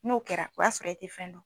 N'o kɛra o y'a sɔrɔ e ti fɛn dɔn